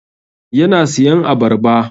Yana siyan abarba.